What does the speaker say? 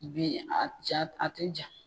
U bɛ yen a ja a tɛ ja